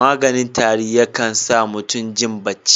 Maganin tari yakan sa mutum jin bacci.